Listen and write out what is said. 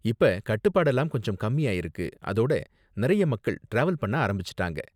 இப்ப கட்டுப்பாடெல்லாம் கொஞ்சம் கம்மி ஆயிருக்கு, அதோட நிறைய மக்கள் டிராவல் பண்ண ஆரம்பிச்சுட்டாங்க.